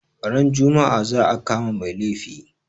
Ran juma'a za a kama mai laifi